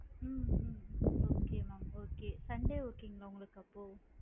ஹம் um okay mam okay sunday okay ங்களா உங்களுக்கு அப்போ?